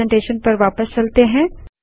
presentation पर वापस चलते हैं